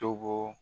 To bɔ